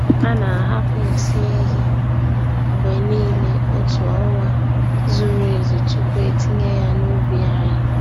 A na-ahapụ nsị ehi mgbe niile otu ọnwa zuru ezu tupu etinye ya n'ubi anyị.